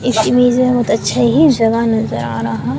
इस इमेज में बहुत अच्छा ही जगह नजर आ रहा --